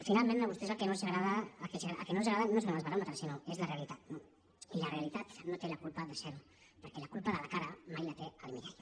finalment a vostès el que no els agrada no són els baròmetres sinó que és la realitat i la realitat no té la culpa de ser ho perquè la culpa de la cara mai la té el mirall